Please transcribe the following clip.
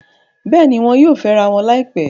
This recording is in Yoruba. Bẹ́ẹ̀ni, wọn yóò fẹ́rawọn láìpẹ́